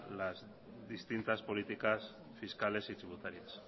las distintas políticas fiscales y tributarias